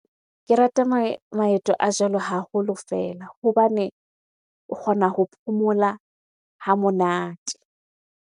Ke rata maeto a jwalo haholo fela hobane o kgona ho phomola ha monate.